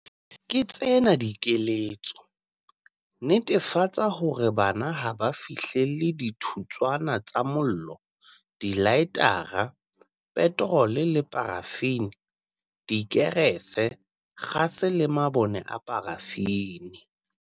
Ke tsena dikeletso- Netefatsa hore bana ha ba fihlelle dithutswana tsa mollo, dilaetara, petrole le parafini, dikerese, kgase le mabone a parafini.